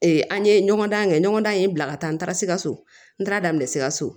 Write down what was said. an ye ɲɔgɔndan kɛ ɲɔgɔndan in bila ka taa n taara sikaso n taara daminɛ sikaso